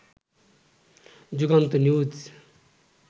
Jugantor news